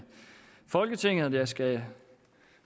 folketinget og jeg skal